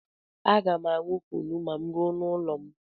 Aga m aṅụ kunu ma m ruo n'ụlọ m.